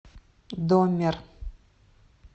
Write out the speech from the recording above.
доммер